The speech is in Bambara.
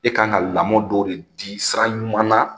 E kan ka lamɔ dɔw de di sira ɲuman na